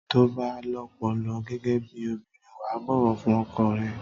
Tó bà lọpọlọ gẹgẹ bí òbínrìn wà bówò fún ọkọ rẹ